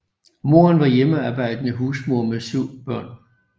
Moderen var hjemmearbejdende husmor med syv børn